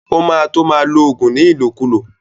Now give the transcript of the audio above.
O má to ma lo ògùn ní ìlòkulò